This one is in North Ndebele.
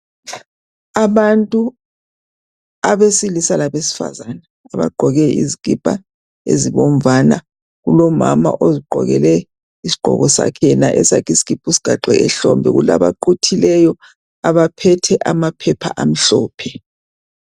Abantu abesilisa labesifazana abagqoke izikipa ezibomvana, kulomama yena ozigqokele isigqoko sakhe yena esakhe isikipa usigaxe ehlombe . Kula baquthileyo baphethe amaphepha amhlophe.